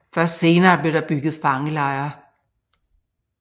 Først senere blev der bygget fangelejre